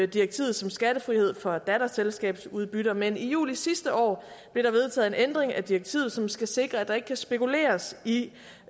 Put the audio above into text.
direktivet som skattefrihed for datterselskabsudbytter men i juli sidste år blev der vedtaget en ændring af direktivet som skal sikre at der ikke kan spekuleres i